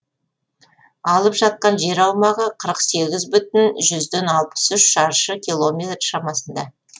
алып жатқан жер аумағы қырық сегіз бүтін жүзден алпыс үш шаршы километр шамасында